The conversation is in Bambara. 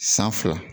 San fila